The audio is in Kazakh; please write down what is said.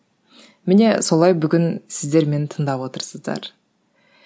міне солай бүгін сіздер мені тыңдап отырсыздар